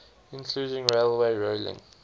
including railway rolling